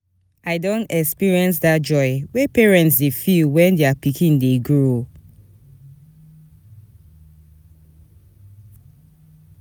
I don experience dat joy wey parents dey feel wen their pikin dey grow.